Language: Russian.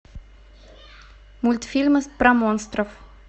мультфильмы про монстров